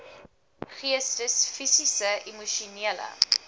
geestes fisiese emosionele